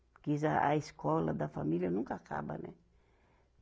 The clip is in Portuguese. Porque eles a, a escola da família nunca acaba, né?